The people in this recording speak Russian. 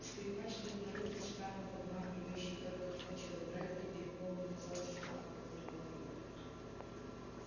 скрипач длиннорукий странно подмаргивающий только кончил играть и переполненный зал шумно аплодировал ему